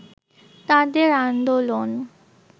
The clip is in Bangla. তাদের আন্দোলন